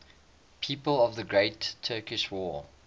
people of the great turkish war